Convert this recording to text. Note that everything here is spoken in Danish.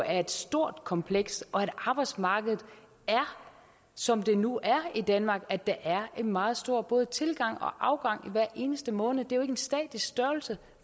er et stort kompleks og at arbejdsmarkedet er som det nu er i danmark altså at der er en meget stor både tilgang og afgang hver eneste måned det er jo ikke en statisk størrelse